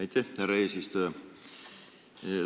Aitäh, härra eesistuja!